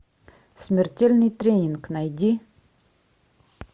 смертельный тренинг найди